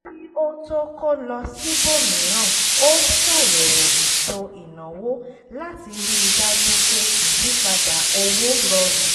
kí ó tó kó lọ síbòmíràn ó ṣàyẹ̀wò ètò ìnáwó láti ríi dájú pé ìyípadà owó rọrùn